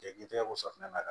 Ja k'i tɛgɛ ko safunɛ na